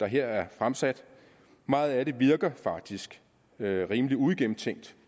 her er fremsat meget af det virker faktisk rimelig uigennemtænkt